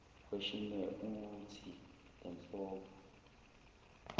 questionnaire uuthi lenhlobo